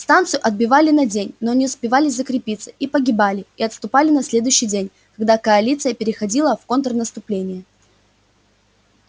станцию отбивали на день но не успевали закрепиться и погибали и отступали на следующий день когда коалиция переходила в контрнаступление